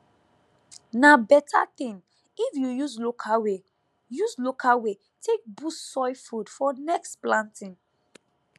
na better thing if you use local way use local way take boost soil food for next planting